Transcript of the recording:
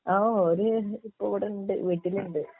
ആഹ് ഓര് ഇപ്പൊ ഇവിടണ്ട് വീട്ടിലുണ്ട്